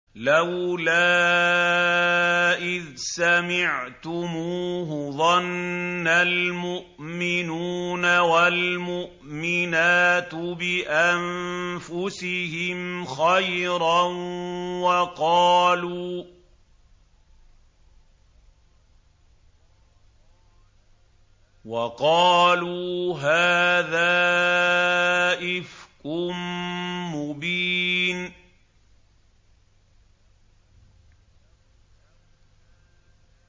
لَّوْلَا إِذْ سَمِعْتُمُوهُ ظَنَّ الْمُؤْمِنُونَ وَالْمُؤْمِنَاتُ بِأَنفُسِهِمْ خَيْرًا وَقَالُوا هَٰذَا إِفْكٌ مُّبِينٌ